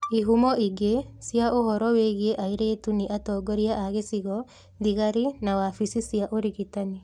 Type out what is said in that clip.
Ihumo ingĩ cia ũhoro wĩgiĩ airĩtu nĩ atongoria a gĩcigo, thigari, na wabici cia ũrigitani.